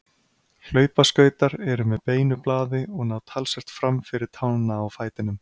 hlaupaskautar eru með beinu blaði og ná talsvert fram fyrir tána á fætinum